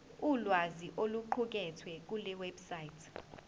ulwazi oluqukethwe kulewebsite